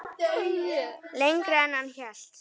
Lengra en hann hélt